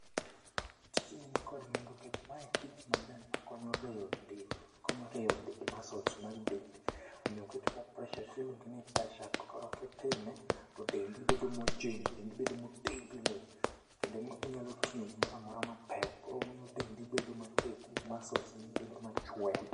Tijni ni kod nengo nkech mae tich maber ma konyo rieyo dend, konyo rieyo masuls mag dendi. Omiyo kitimo preshap tiluonge ni preshap koro kitime to dendi bedo mojing', dendi bedo motegno. Kendo inyalo ting'o gimoramora ma pek, koro omiyo dendi bedo matek masuls gi bedo machwe.